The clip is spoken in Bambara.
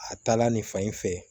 A taala nin fan in fɛ